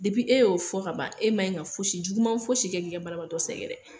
e y'o fɔ ka ban, e ma in ka fosi juguman fosi kɛ ki ka banabagatɔ sɛgɛrɛ